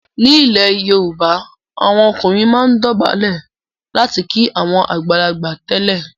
Nílẹ̀ Yorùbá, àwọn ọkùnrin máa ń dọ̀bálẹ̀ láti kí àwọn àgbàlagbà tẹ́lẹ̀.